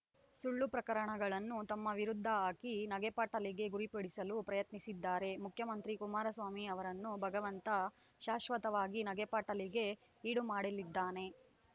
ಸುಳ್ಳು ಪ್ರಕರಣಗಳನ್ನು ತಮ್ಮ ವಿರುದ್ಧ ಹಾಕಿ ನಗೆಪಾಟಲಿಗೆ ಗುರಿಪಡಿಸಲು ಪ್ರಯತ್ನಿಸಿದ್ದಾರೆ ಮುಖ್ಯಮಂತ್ರಿ ಕುಮಾರಸ್ವಾಮಿ ಅವರನ್ನು ಭಗವಂತ ಶಾಶ್ವತವಾಗಿ ನಗೆಪಾಟಲಿಗೆ ಈಡುಮಾಡಲಿದ್ದಾನೆ